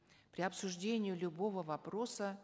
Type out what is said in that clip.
при обсуждении любого вопроса